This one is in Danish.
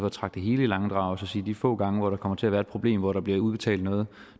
at trække det hele i langdrag så siger at de få gange hvor der kommer til at være et problem hvor der er blevet udbetalt noget